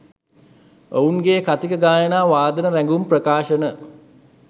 ඔවුන්ගේ කථික ගායන වාදන රැගුම් ප්‍රකාශන